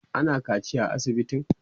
ana kaciya a asibitin?